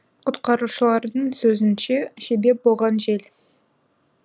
құтқарушылардың сөзінше себеп болған жел